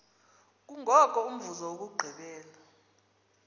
kungoko umvuzo wokugqibela